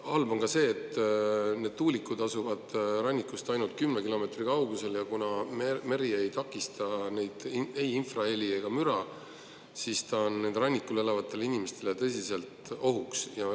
Halb on ka see, et kuna need tuulikud asuvad rannikust ainult kümne kilomeetri kaugusel ja meri ei takista ei infraheli ega müra, siis on see rannikul elavatele inimestele tõsiselt ohuks.